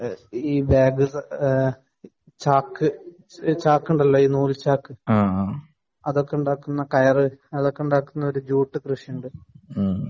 bag ,ചാക്ക് ഈ ചാക്കുണ്ടല്ലോ ഈ നൂൽ ചാക്ക് അതൊക്കെ ഉണ്ടാക്കുന്ന കയർ അതിന്റെ കൃഷി ഉണ്ട്